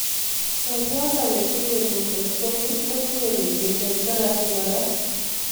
Chebyosoo netinyeel lumpectomy kotinyee radiation therapy koraa